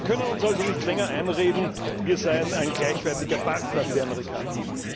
Wir können uns also nicht länger einreden, wir seien ein gleichwertiger Partner für die Amerikaner.